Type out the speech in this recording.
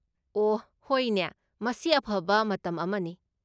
ꯑꯣꯍ ꯍꯣꯏꯅꯦ, ꯃꯁꯤ ꯑꯐꯕ ꯃꯇꯝ ꯑꯃꯅꯤ꯫